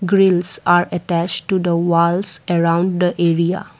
grills are attached to the walls around the area.